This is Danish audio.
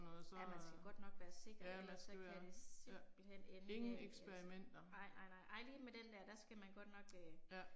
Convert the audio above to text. Ja man skal godt nok være sikker ellers så kan det simpelthen ende galt altså. Nej nej nej, nej lige med den der, der skal man godt nok øh